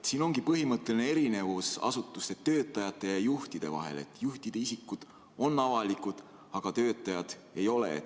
Selles ongi põhimõtteline erinevus asutuste töötajate ja juhtide vahel, et juhtide isikud on avalikud, töötajad ei ole.